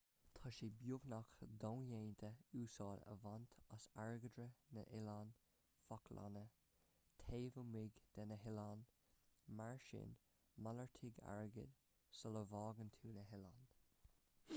tá sé beagnach dodhéanta úsáid a bhaint as airgeadra na noileán fáclainne taobh amuigh de na hoileáin mar sin malartaigh airgead sula bhfágann tú na hoileáin